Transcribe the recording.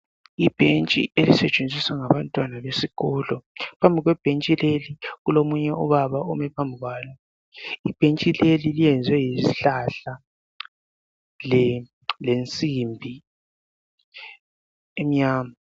Ibentshi elisetshenziswa ngabantwana besikolo, phambi kwebentshi leli kulomuye ubaba ome phambi kwalo. Ibentshi leli leyenzwe ngesihlahla lensimbi emnyama.